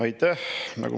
Aitäh!